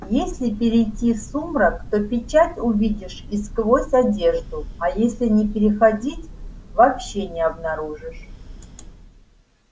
если перейти в сумрак то печать увидишь и сквозь одежду а если не переходить вообще не обнаружишь